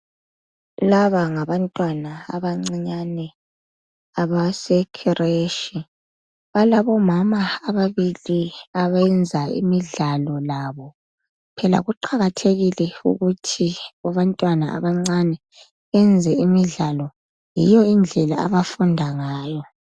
laba ngabantwana abancinyane abase creche balabo mama ababili abayenza imidlalo labo phela kuqakathekile ukuthi abantwana abancane benze imidlalo yiyo indlela abafunda ngayo